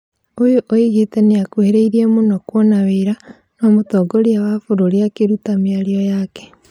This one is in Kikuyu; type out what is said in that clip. Ũyũ oigĩte nĩakũhĩrĩirie mũno kwona wĩra, no mũtongoria wa bũrũri akĩruta mĩario yake